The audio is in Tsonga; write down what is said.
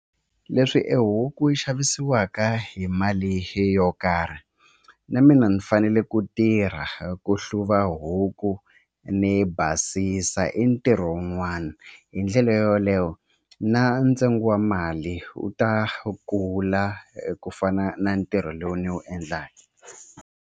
Leswi e huku yi xavisiwaka hi mali yo karhi na mina ni fanele ku tirha ku hluva huku ni basisa i ntirho wun'wana hi ndlela yoleyo na ntsengo wa mali wu ta kula ku fana na ntirho lowu ni wu endlaka.